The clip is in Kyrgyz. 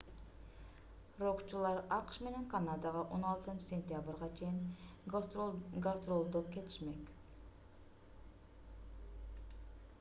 рокчулар акш менен канадага 16-сентябрга чейин гастролдоп кетишмек